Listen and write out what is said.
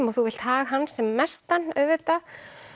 og þú vilt hag hans sem mestan auðvitað